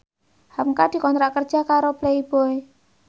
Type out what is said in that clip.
hamka dikontrak kerja karo Playboy